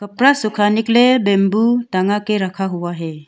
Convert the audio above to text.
कपड़ा सुखाने के लिए बम्बू टंगा के रखा हुआ है।